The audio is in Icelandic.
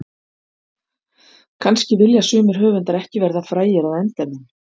Kannski vilja sumir höfundar ekki verða frægir að endemum.